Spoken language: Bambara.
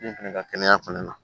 Min fana ka kɛnɛya fana na